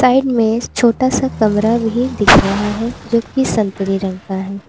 Side में छोटा सा कमरा भी दिख रहा है जो की संतरे रंग का है।